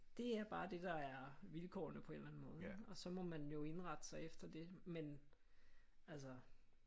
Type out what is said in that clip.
Det er bare det der er vilkårene på en eller anden måde ikke og så må man jo indrette sig efter det men altså